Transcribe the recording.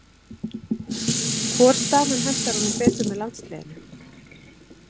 Hvor staðan hentar honum betur með landsliðinu?